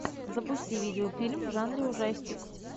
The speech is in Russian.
запусти видеофильм в жанре ужастик